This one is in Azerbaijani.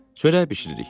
Çörək bişiririk.